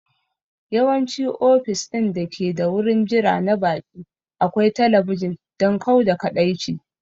Yawanci ofis ɗin dake da wurin jira na baƙi akwai talabijin don kau da kaɗaici